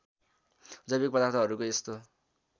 जैविक पदार्थहरूको यस्तो